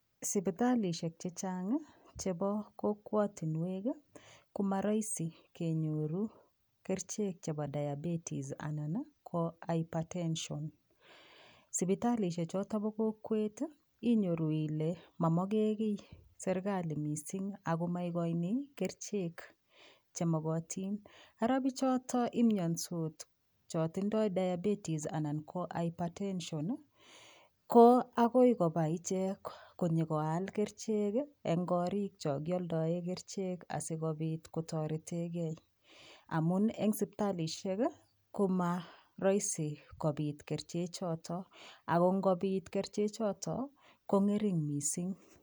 Sipitalishek chechang chebo kokwatinwek komaraisi kenyoru kerichek chebo diabetis anan ko hypertension. Sipitalishek chotok bo kokwet inyoru ile mamogekiy serkali mising ako maigoini kerichek chemokotin. Ara piichotok imiandos cho tindoi diabeties anan ko hypertension ko akoi koba ichek akoi ichek koyokoal kerichek eng korik chokioldae kerichek asikopit kotoretegei. Amun eng sipitalishek ko marahisi[ kopit kerichechotok ako ngopit kong'ering' mising.